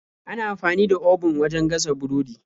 Ana amfani da obun wajen gasa burodi.